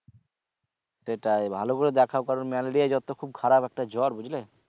সেটাই ভালো করে দেখাও কারণ malaria র জ্বর তো খুব খারাপ একটা জ্বর বুঝলে?